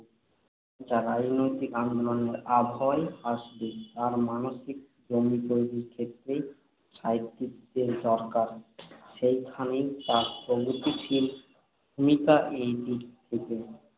যা রাজনৈতিক আন্দোলনের আবহাওয়ায় আসবে তার মানসিক জমি তৈরির ক্ষেত্রেই সাহিত্যিকদের দরকার। সেইখানেই তাঁর প্রগতিশীল ভূমিকা। এইদিক থেকে